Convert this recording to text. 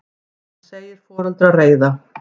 Hann segir foreldra reiða.